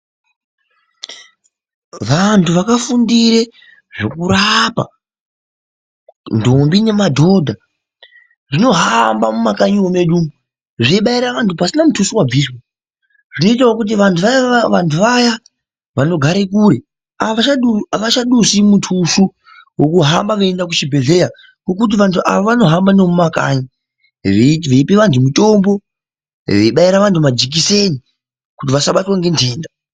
Vantu vakafundire zvekurapa ndombi nemadhodha zvinohamba mumakanyimo medu zveibaira vantu pasina mutuso wabviswa zvinoitawo kuti vantu vayana vanogare kure avachadusi mutuso wokuhamba vechienda kuchibhedhlera ngekuti vantu ava vanohamba nemumakanyi veipe vantu mitombo, zveibaira ventu majekiseni kuti vasabatwa ngendenda.